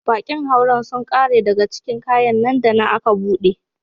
Bakin hauren sun kare daga cikin kayan nan da nan aka bude.